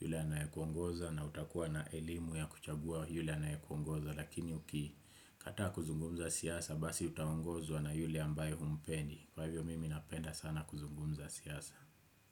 yule anayekuongoza na utakuwa na elimu ya kuchagua yule anayekuongoza Lakini ukikataa kuzungumza siasa basi utaongozwa na yule ambaye humpendi Kwa hivyo mimi napenda sana kuzungumza siasa.